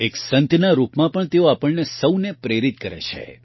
એક સંતના રૂપમાં પણ તેઓ આપણને સૌને પ્રેરિત કરે છે